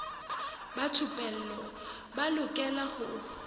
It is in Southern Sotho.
ba thupelo ba lokela ho